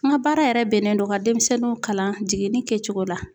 N ga baara yɛrɛ bɛnnen don ka denmisɛnnunw kalan jiginni kɛcogo la